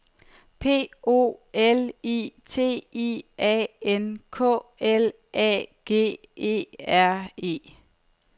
P O L I T I A N K L A G E R E